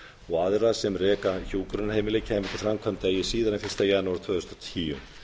og aðra sem reka hjúkrunarheimili kæmu til framkvæmda eigi síðar en fyrsta janúar tvö þúsund og tíu